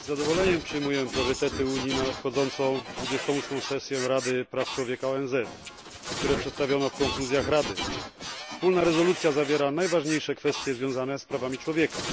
Z zadowoleniem przyjmuję priorytety Unii na nadchodzącą 28. sesję Rady Praw Człowieka ONZ, które przedstawiono w konkluzjach Rady. Wspólna rezolucja zawiera najważniejsze kwestie związane z prawami człowieka.